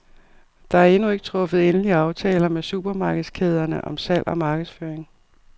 Der er endnu ikke truffet endelige aftaler med supermarkedskæderne om salg og markedsføring.